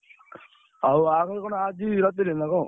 ହଉ, ବାହାଘର କଣ ଆଜି ରାତିରେ ନା କଣ?